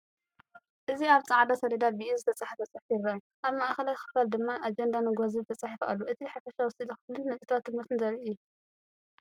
እዚ ኣብ ጻዕዳ ሰሌዳ ብኢድ ዝተጻሕፈ ጽሑፍ የርኢ። ኣብ ማእከላይ ክፋል ድማ ኣጀንዳ ንግሆ ዝብል ተጻሒፉ ኣሎ። እቲ ሓፈሻዊ ስእሊ ክፍልን ነጥብታት ትምህርትን ዘርኢ እዩ።